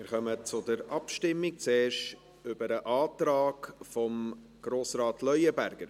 Wir kommen zur Abstimmung, zuerst über den Antrag von Grossrat Leuenberger.